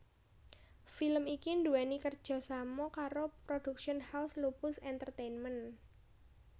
Film iki nduweni kerjasama karo Production House Lupus Entertainment